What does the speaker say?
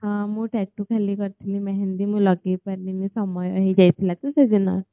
ହଁ ମୁ ଟାଟୁ ଖାଲି କରିଥିଲି ମେହେନ୍ଦି ମୁଁ ଲଗେଇ ପାରିଲିନି ସମୟ ହେଇଯାଇଥିଲା ତ ସେଦିନ